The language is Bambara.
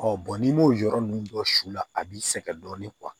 Ɔ bɔn n'i m'o yɔrɔ ninnu dɔ su la a b'i sɛgɛn dɔɔni